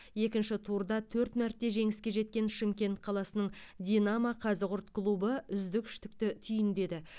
екінші турда төрт мәрте жеңіске жеткен шымкент қаласының динамо қазығұрт клубы үздік үштікті түйіндеді